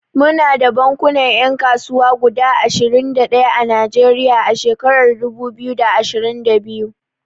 Muna da bankunan 'yan kasuwa guda ashirin da ɗaya a Najeriya a shekarar dubu biyu da ashirin da biyu.